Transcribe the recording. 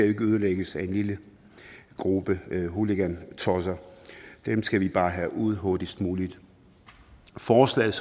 ikke ødelægges af en lille gruppe hooligantosser dem skal vi bare have ud hurtigst muligt forslaget